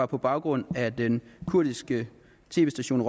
på baggrund af den kurdiske tv station